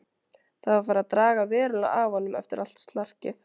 Það var farið að draga verulega af honum eftir allt slarkið.